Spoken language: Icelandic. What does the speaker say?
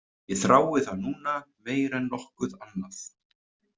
Ég þrái það núna meira en nokkuð annað.